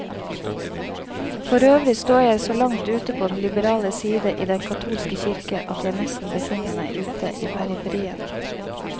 Forøvrig står jeg så langt ute på den liberale side i den katolske kirke, at jeg nesten befinner meg ute i periferien.